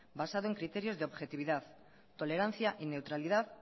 basado en criterios de objetividad tolerancia y neutralidad